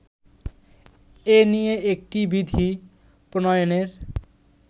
এ নিয়ে একটি বিধি প্রণয়নের